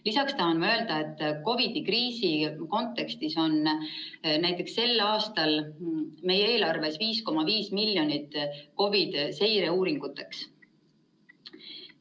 Lisaks tahan ma öelda, et COVID‑kriisi kontekstis on näiteks sel aastal meie eelarves 5,5 miljonit COVID‑i seireuuringuteks.